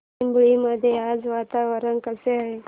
चिंबळी मध्ये आज वातावरण कसे आहे